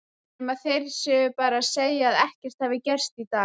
Nema þeir séu bara að segja að ekkert hafi gerst í dag.